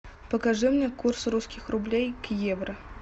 покажи мне курс русских рублей к евро